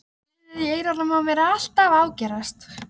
Suðið fyrir eyrunum á mér er alltaf að ágerast.